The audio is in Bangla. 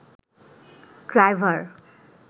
ড্রাইভার